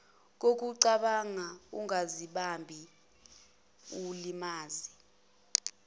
kokucabanga ungazibambi mlimaze